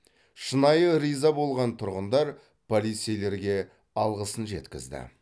шынайы риза болған тұрғындар полицейлерге алғысын жеткізді